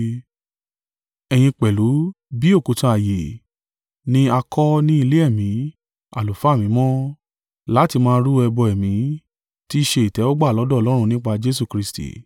Ẹ̀yin pẹ̀lú, bí òkúta ààyè, ni a kọ́ ní ilé ẹ̀mí, àlùfáà mímọ́, láti máa rú ẹbọ ẹ̀mí, tí i ṣe ìtẹ́wọ́gbà lọ́dọ̀ Ọlọ́run nípa Jesu Kristi.